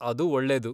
ಅದು ಒಳ್ಳೇದು.